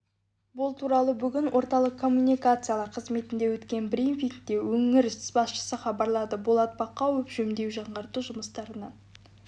бұл туралы бүгін орталық коммуникациялар қызметінде өткен брифингте өңір басшысы хабарлады болат бақауов жөндеу жаңғырту жұмыстарынан